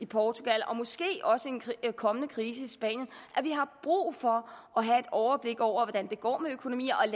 portugal og måske også en kommende krise i spanien at vi har brug for at have et overblik over hvordan det går med økonomierne